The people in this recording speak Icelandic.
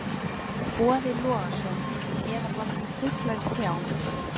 Boði Logason: Eða bara svona fuglar í trjám?